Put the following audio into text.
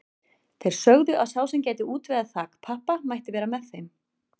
Þeir sögðu að sá sem gæti útvegað þakpappa mætti vera með þeim.